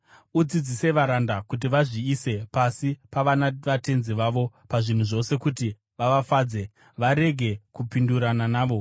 Udzidzise varanda kuti vazviise pasi pavanavatenzi vavo pazvinhu zvose kuti vavafadze, varege kupindurana navo,